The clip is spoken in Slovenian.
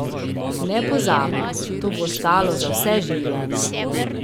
Nepozabno, to bo ostalo za vse življenje.